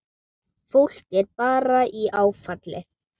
Fólk er bara í áfalli.